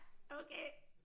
Okay